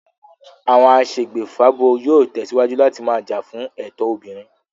Àwọn aṣègbèfábo yóò tẹ̀síwájú láti máa jà fún ẹ̀tọ́ obìnrin